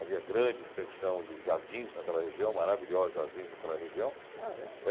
Havia grande extensão de jardins naquela região, maravilhosos jardins naquela região. Ah é?